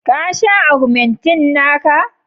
ka sha ogmentin naka?